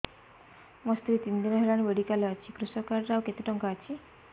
ମୋ ସ୍ତ୍ରୀ ତିନି ଦିନ ହେଲାଣି ମେଡିକାଲ ରେ ଅଛି କୃଷକ କାର୍ଡ ରେ ଆଉ କେତେ ଟଙ୍କା ଅଛି